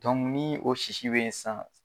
o sisi bɛyi sisan.